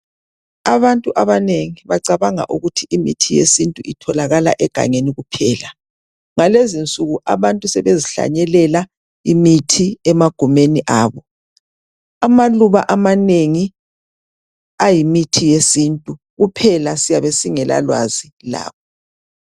Abantu abanengi bacabanga ukuthi imithi yesintu itholakala egangeni kuphela. Ngalezinsuku abantu sebezihlanyelela imithi emagumeni abo. Amaluba amanengi ayimithi yesintu, kuphela siyabe singelalwazi lawo.